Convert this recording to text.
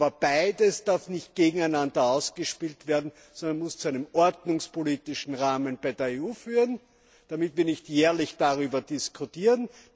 Aber beides darf nicht gegeneinander ausgespielt werden, sondern muss zu einem ordnungspolitischen Rahmen bei der EU führen, damit wir nicht jährlich darüber diskutieren.